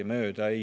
Nii see on.